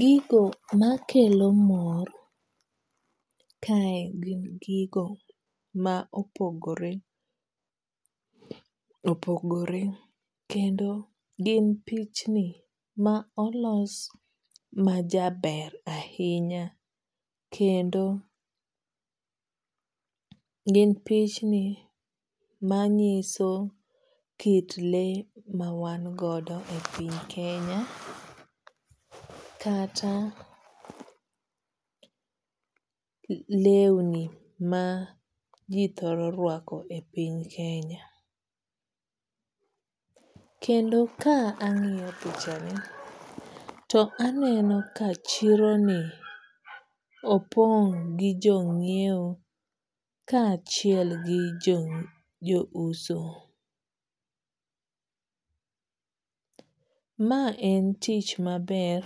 Gigo makelo mor kae gin gigo ma opogore opogore kendo gin pichni ma olos majaber ahinya kendo gin pichni manyiso kit lee ma wan godo e piny Kenya kata lewni ma ji thoro ruako e piny Kenya. Kendo ka ang'iyo pichani to aneno ka chironi opong' gi jo ng'iewo kaachiel gi jouso. Ma en tich maber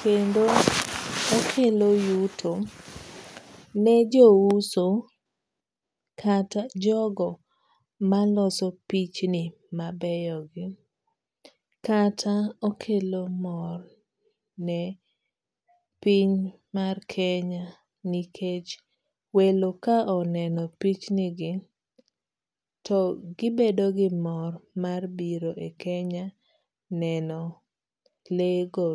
kendo okelo yuto nejouso kata jogo maloso pichni mabeyogi. Kata okelo mor ne piny mar Kenya nikech welo ka oneno pichnigi to gibedo gi mor mar biro e Kenya neno lee go.